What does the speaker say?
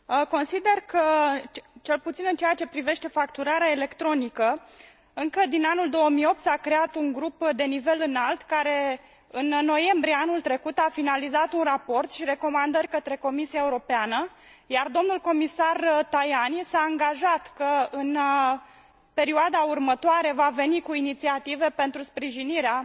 Consider că, cel puțin în ceea ce privește facturarea electronică, încă din anul 2008 s a creat un grup la nivel înalt, care în noiembrie anul trecut a finalizat un raport și recomandări către Comisia Europeană, iar domnul comisar Tajani s a angajat că în perioada următoare va veni cu inițiative pentru sprijinirea